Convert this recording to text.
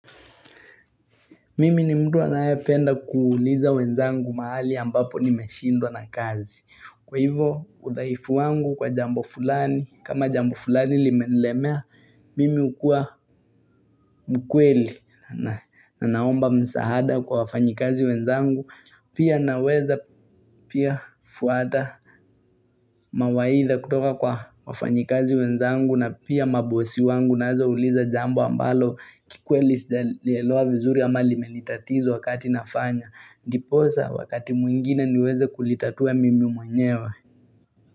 Mimi ni mtu anayependa kuuliza wenzangu mahali ambapo nimeshindwa na kazi. Kwa hivo, uthaifu wangu kwa jambo fulani, kama jambo fulani limenilemea, mimi hukua mkweli na naomba msaada kwa wafanyikazi wenzangu. Pia naweza pia fwata mawaidha kutoka kwa wafanyikazi wenzangu na pia mabosi wangu nazo uliza jambo ambalo kikweli sijalielewa vizuri ama limenitatiza wakati nafanya. Ndiposa wakati mwingine niweze kulitatua mimi mwenyewe.